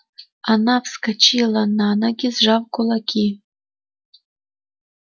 она вскочила на ноги сжав кулаки